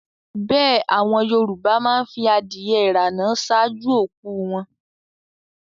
Bẹ́ẹ̀ àwọn Yorùbá má ń fi adìẹ ìrànà ṣáájú òkú u wọn